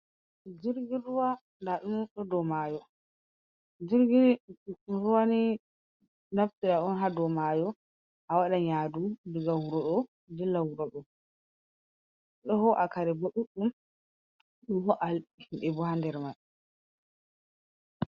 Jirginruw, ndaaɗum ɗon haa do maayo a wadan yadu daga wurodo dilla wurodo ɗoho km hm